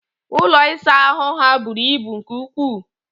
Ụlọ ịsa ahụ ha bụrụ ibu nke ukwu